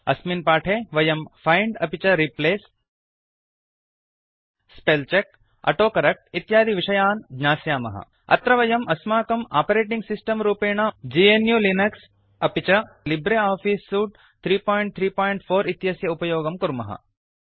अस्मिन् पाठे वयम् फैंड अपि च replace spell check auto correct इत्यादि विषयान् ज्ञास्यामः अत्र वयम् अस्माकम् आपरेटिंग् सिस्टम् रूपेण ग्नु लिनक्स अपि च लिब्रे आफीस् सूट् 334 इत्यस्य उपयोगं कुर्मः